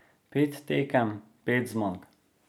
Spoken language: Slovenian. Pet tekem, pet zmag.